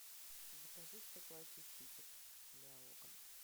закажи стеклоочиститель для окон